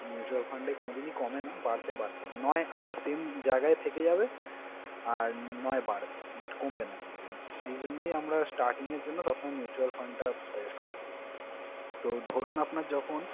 Mutual fund এ কোনদিনই কমে না, বাড়তে বাধ্য। নয় আপনার same জায়গায় থেকে যাবে আর নয় বাড়বে but কমবে না কোনদিনও। এইজন্যেই আমরা starting এর জন্য সবসময় mutual fund টা suggest করি। তো ধরুন, আপনার যখন